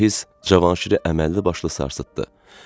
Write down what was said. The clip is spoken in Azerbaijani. Bu hiss Cavanşiri əməllibaşlı sarsıtdı.